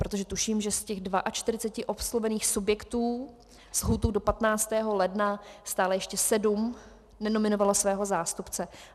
Protože tuším, že z těch 42 oslovených subjektů s lhůtou do 15. ledna stále ještě sedm nenominovalo svého zástupce.